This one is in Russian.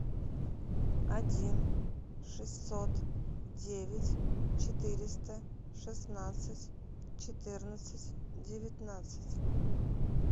один шестьсот девять четыреста шестнадцать четырнадцать девятнадцать